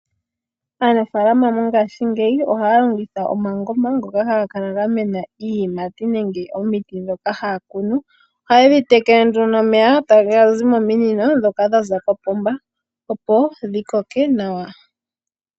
Aanafalama mongashingeyi ohayalongitha omangoma ngoka haga kala ga mena iiyinati nenge iineno mbyoka haya kunu oha yedhi tekele nomeya gaza kopoomba opo yimene nawa.